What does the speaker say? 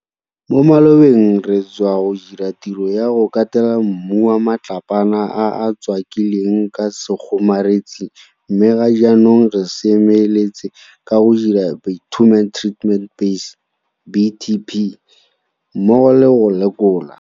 Mo malobeng re satswa go dira tiro ya go katela mmu wa matlapana a a tswaki lweng ka sekgomaretsi mme ga jaanong re seme letse ka go dira bitumen treated base BTB mmogo le go lekola.